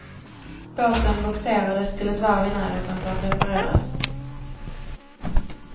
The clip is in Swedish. Båten bogserades till ett varv i närheten för att repareras.